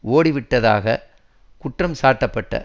ஓடிவிட்டதாகக் குற்றம் சாட்டப்பட்ட